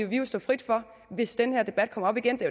vi stå frit hvis den her debat kommer op igen det